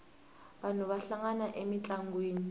vanhu va hlangana emintlangwini